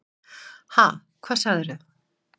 Ha, hvað sagðir þú?